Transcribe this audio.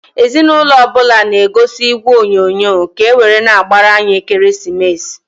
Ezi n'ụnọ ọbụna na -egozi igwe onyoonyo, ka ewere na-agbar'anya ekeresimesi.